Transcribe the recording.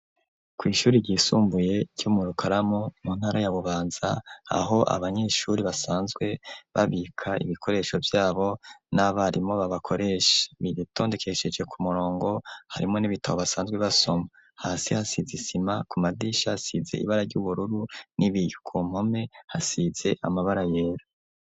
kw’ishuri ryisumbuye cyo mu rukaramu mu ntara ya bubanza aho abanyeshuri basanzwe babika ibikoresho byabo n'abarimo babakoresha biritondekesheje ku murongo harimo n'ibitabo basanzwe basoma hasi hasize isima ku madisha size ibara ry'ubururu n'ibiyuku mpome hasize amabara yera.